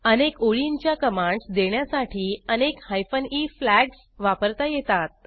अनेक ओळींच्या कमांडस देण्यासाठी अनेक हायफेन ई फ्लॅग्ज वापरता येतात